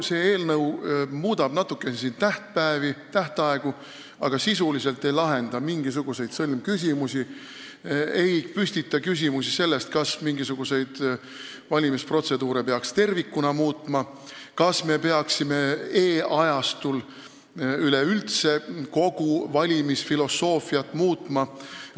See eelnõu muudab natuke tähtaegu, aga sisuliselt ei lahenda mingisuguseid sõlmküsimusi, see ei püstita küsimust, kas mingisuguseid valimisprotseduure peaks tervikuna muutma ja kas me peaksime e-ajastul üleüldse kogu valimisfilosoofiat muutma.